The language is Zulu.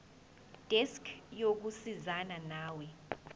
desk yokusizana nawe